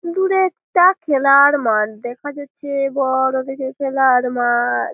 দূরে একটা খেলার মাঠ দেখা যাচ্ছে। বড় দেখে খেলার মাঠ।